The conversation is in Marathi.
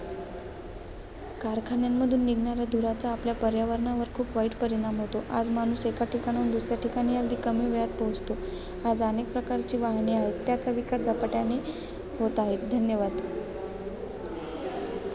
कारखान्यामधून निघणाऱ्या धुराचा आपल्या पर्यावरणावर खूप वाईट परिणाम होतो. आज माणूस एकाठिकाणाहून दुसऱ्या ठिकाणी अगदी कमी वेळात पोहोचतो. आज अनेक प्रकारची वाहने आहेत. त्याचा विकास झपाट्याने होत आहे. धन्यवाद.